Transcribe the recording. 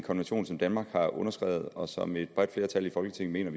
konvention som danmark har underskrevet og som et bredt flertal i folketinget mener